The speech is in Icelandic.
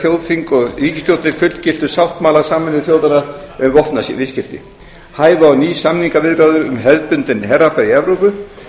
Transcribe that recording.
þjóðþing og ríkisstjórnir fullgiltu sáttmála sameinuðu þjóðanna um vopnaviðskipti hæfu á ný samningaviðræður um hefðbundinn herafla í evrópu